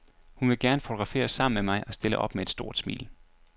Hun vil gerne fotograferes sammen med mig og stiller op med et stort smil.